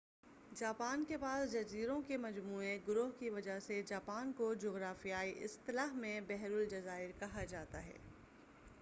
Japan کے پاس جزیروں کے مجموعہ/گروہ کی وجہ سے، جاپان کو جغرافیائی اصطلاح میں بحر الجزائر کہا جاتا ہے۔